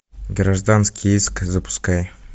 гражданский иск запускай